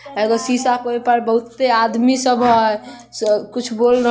एगो शीशा के ऊपर बहुते आदमी सब हई स कुछ बोल रहल --